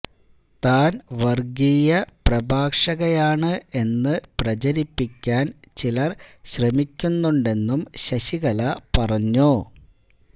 താന് വര്ഗീയ പ്രഭാഷകയാണ് എന്ന് പ്രചരിപ്പിക്കാന് ചിലര് ശ്രമിക്കുന്നുണ്ടെന്നും ശശികല പറഞ്ഞു